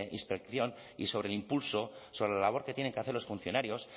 inspección y sobre el impulso sobre la labor que tienen que hacer los funcionarios